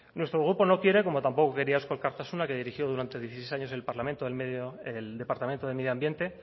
nuestro grupo no quiere como tampoco quería eusko alkartasuna que dirigió durante dieciséis años el departamento de medio ambiente